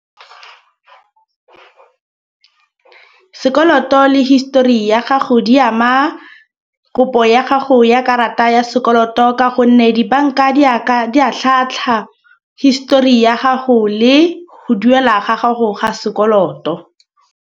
Sekoloto le histori ya gago di ama kopo ya gago ya karata ya sekoloto. Ka gonne dibanka di a di a tlhatlhwa histori ya gago le go duela ga gago ga sekoloto.